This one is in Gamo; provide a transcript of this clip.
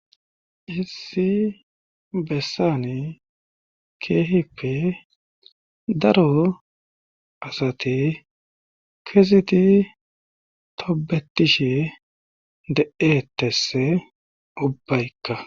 issi bessani keehippe daro asati keziti tobetishe de7eetesse ubbaykka